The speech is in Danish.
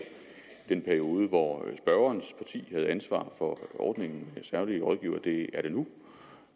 den periode hvor spørgerens parti havde ansvaret for ordningen med særlige rådgivere det er det nu